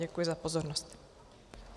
Děkuji za pozornost.